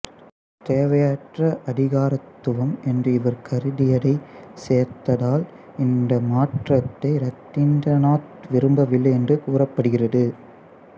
தேவையற்ற அதிகாரத்துவம் என்று இவர் கருதியதைச் சேர்த்ததால் இந்த மாற்றத்தை இரதிந்திரநாத் விரும்பவில்லை என்று கூறப்படுகிறது